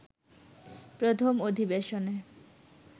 প্রথম অধিবেশনে